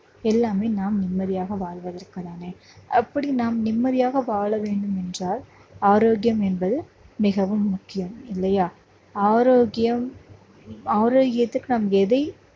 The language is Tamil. எல்லாமே நாம் நிம்மதியாக வாழ்வதற்கு தானே அப்படி நாம் நிம்மதியாக வாழ வேண்டும் என்றால் ஆரோக்கியம் என்பது மிகவும் முக்கியம் இல்லையா ஆரோக்கியம் ஆரோக்கியத்துக்கு நாம் எதை